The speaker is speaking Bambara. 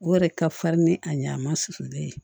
O yɛrɛ ka farin ni a ɲɛ a ma susulen ye